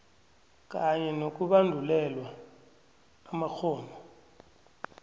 kanye nokubandulelwa amakghono